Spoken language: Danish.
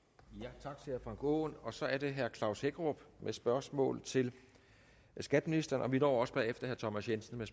tak til herre frank aaen så er det herre klaus hækkerup med spørgsmål til skatteministeren og vi når også bagefter herre thomas jensen med